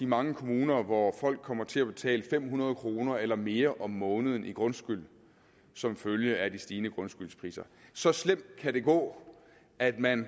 mange kommuner hvor folk kommer til at betale fem hundrede kroner eller mere om måneden i grundskyld som følge af de stigende grundskyldspriser så slemt kan det gå at man